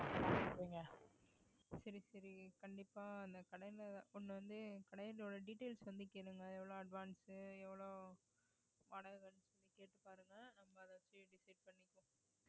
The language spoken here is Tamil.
சரி சரி கண்டிப்பா இந்த கடையில கொண்டு வந்து கடையில உள்ள details வந்து கேளுங்க எவ்வளவு advance எவ்வளவு வாடகை கேட்டுப்பாருங்க நம்ம அதை வச்சு decide பண்ணிப்போம்